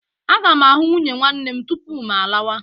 Aga m ahụ nwunye nwanne m tupu m lawa.